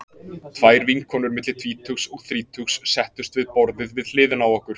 Tvær vinkonur milli tvítugs og þrítugs settust við borðið við hliðina á okkur.